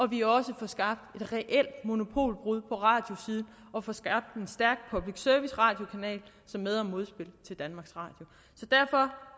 vi også får skabt et reelt monopolbrud på radiosiden og får skabt en stærk public service radiokanal som med og modspil til danmarks radio derfor